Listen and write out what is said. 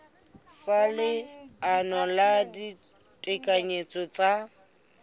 sa leano la ditekanyetso tsa